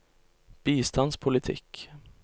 bistandspolitikk